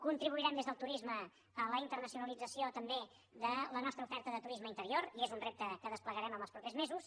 contribuirem des del turisme a la internacionalització també de la nostra oferta de turisme interior i és un repte que desplegarem els propers mesos